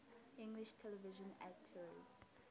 english television actors